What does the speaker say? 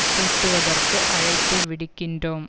கூட்டுவதற்கு அழைப்பு விடுக்கின்றோம்